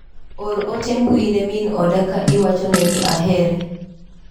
Or ote mbui ne min oda ka iwachone ni ahere.